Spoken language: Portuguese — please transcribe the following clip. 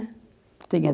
Tinha